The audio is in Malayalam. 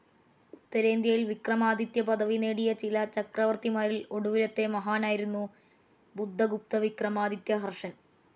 ഉത്തരേന്ത്യയിൽ വിക്രമാദിത്യപദവി നേടിയ പല ചക്രവർത്തിമാരിൽ ഒടുവിലത്തെ മഹാനായിരുന്നു ബുധഗുപ്തവിക്രമാദിത്യഹർഷൻ.